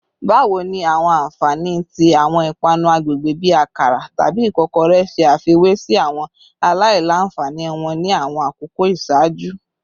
Bawo ni awọn anfani ti awọn ipanu agbegbe bi akara tabi ikokore ṣe afiwe si awọn alailanfani wọn ni awọn akoko iṣaaju?